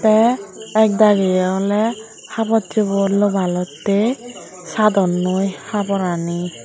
te ekdagiye oley habocchuor loballottey sadonnoi haborani.